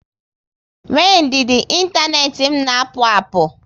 Nwee ndidi, inteenti m na akpu akpụ